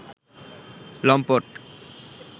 লম্পট